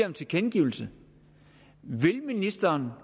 en tilkendegivelse vil ministeren